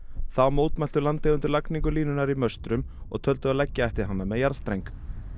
þá mótmæltu landeigendur lagningu línunnar í möstrum og töldu að leggja ætti hana með jarðstreng